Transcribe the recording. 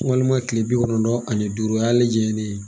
Walima kile bi kɔnɔntɔn ani duuru o y'ale jɛnen ye